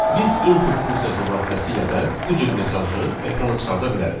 Biz "input" funksiyası vasitəsilə də bu cür mesajı ekrana çıxarda bilərik.